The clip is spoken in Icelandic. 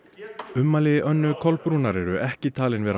ummæli Önnu Kolbrúnar Árnadóttur eru ekki talin vera